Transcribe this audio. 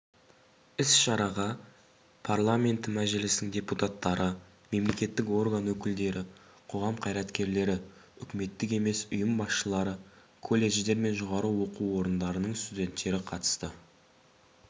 іс-шараға парламенті мәжілісінің депутаттары мемлекеттік орган өкілдері қоғам қайраткерлері үкіметтік емес ұйым басшылары колледждер мен жоғары оқу орындарының студенттері қатысты